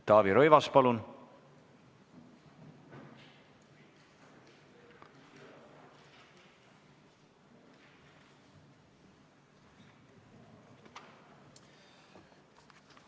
Taavi Rõivas, palun!